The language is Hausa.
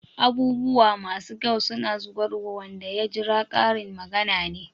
"Abubuwa masu kyau suna zuwarwa wanda ya jira" Karin magana ne.